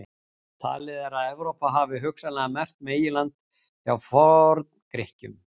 Talið er að orðið Evrópa hafi hugsanlega merkt meginland hjá Forn-Grikkjum.